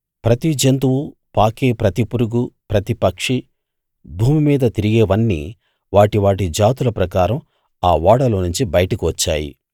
ప్రతి జంతువు పాకే ప్రతి పురుగు ప్రతి పక్షి భూమి మీద తిరిగేవన్నీ వాటి వాటి జాతుల ప్రకారం ఆ ఓడలోనుంచి బయటకు వచ్చాయి